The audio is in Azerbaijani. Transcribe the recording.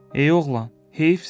Ey oğlan, heyfsən sənə.